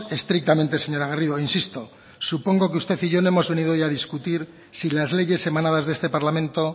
estrictamente señora garrido e insisto supongo que usted y yo no hemos venido hoy a discutir si las leyes emanadas de este parlamento